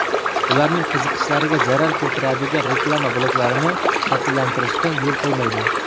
ularning qiziqishlariga zarar keltiradigan reklama bloklarini shakllantirishga yo‘l qo‘ymaydi.